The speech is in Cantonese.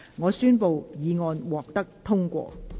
我宣布議案獲得通過。